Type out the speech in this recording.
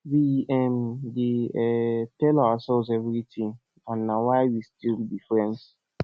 we um dey um tell ourselves everything and na why we still be friends